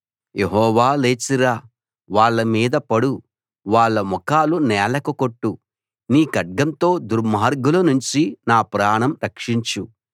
యెహోవా లేచి రా వాళ్ళ మీద పడు వాళ్ళ ముఖాలు నేలకు కొట్టు నీ ఖడ్గంతో దుర్మార్గులనుంచి నా ప్రాణం రక్షించు